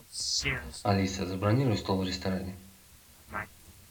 алиса забронируй стол в ресторане